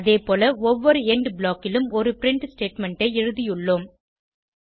அதேபோல ஒவ்வொரு எண்ட் blockலும் ஒரு பிரின்ட் ஸ்டேட்மெண்ட் ஐ எழுதியுள்ளோம்